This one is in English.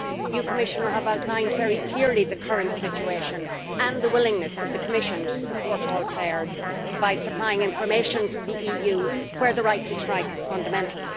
You, Commissioner, have outlined very clearly the current situation and the willingness of the Commission to support all players by supplying information from the EU, where the right to strike is fundamental.